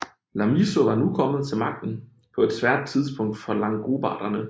Lamissio var nu kommet til magten på et svært tidspunkt for langobarderne